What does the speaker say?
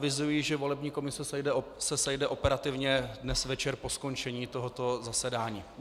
Avizuji, že volební komise se sejde operativně dnes večer po skončení tohoto zasedání.